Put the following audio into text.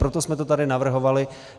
Proto jsme to tady navrhovali.